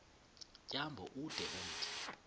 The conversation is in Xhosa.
tyambo ude umthi